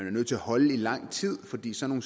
nødt til at holde lang tid fordi sådan